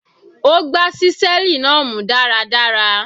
Ó gbá ṣíṣẹ́ẹ̀lì náà mú dáradára.